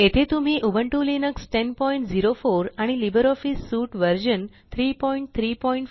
येथे आम्ही Ubuntu Linux 1004 आणि लिब्रिऑफिस सूट व्हर्शन 334